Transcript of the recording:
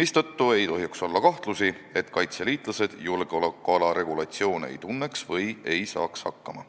mistõttu ei tohiks olla kahtlust, et kaitseliitlased julgeolekuala regulatsioone ei tunneks või ei saaks nende järgmisega hakkama.